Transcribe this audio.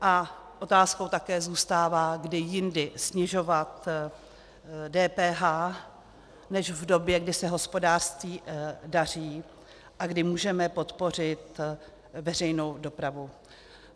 A otázkou také zůstává, kdy jindy snižovat DPH než v době, kdy se hospodářství daří a kdy můžeme podpořit veřejnou dopravu.